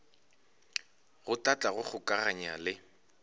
go hlahla go kgokaganya le